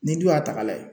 Ni dun y'a ta ka lajɛ